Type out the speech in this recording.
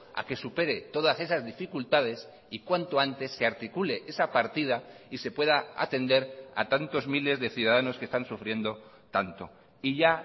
a que supere todas esas dificultades y cuanto antes se articule esa partida y se pueda atender a tantos miles de ciudadanos que están sufriendo tanto y ya